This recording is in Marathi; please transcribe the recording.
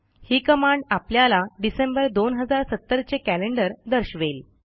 ही कमांड आपल्याला डिसेंबर 2070 चे कॅलेंडर दर्शवेल